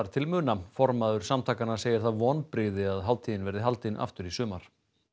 til muna formaður samtakanna segir það vonbrigði að hátíðin verði haldin aftur í sumar